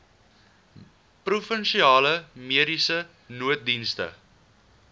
provinsiale mediese nooddienste